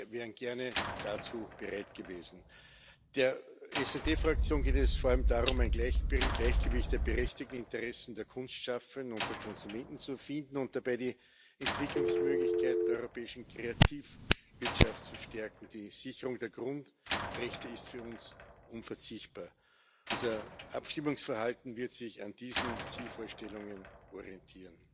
Wir wären gerne dazu bereit gewesen. Der SD Fraktion geht es vor allem darum, ein Gleichgewicht der berechtigten Interessen der Kunstschaffenden und der Konsumenten zu finden und dabei die Entwicklungsmöglichkeit der europäischen Kreativwirtschaft zu stärken. Die Sicherung der Grundrechte ist für uns unverzichtbar. Unser Abstimmungsverhalten wird sich an diesen Zielvorstellungen orientieren.